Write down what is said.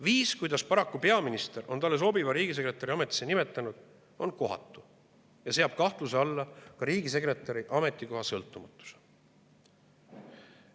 Viis, kuidas peaminister on endale sobiva riigisekretäri ametisse nimetanud, on kohatu ja seab kahtluse alla ka riigisekretäri ametikoha sõltumatuse.